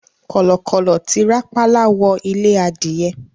Kọ̀lọ̀kọ̀lọ̀ ti rápálá wọ ilé adìyẹ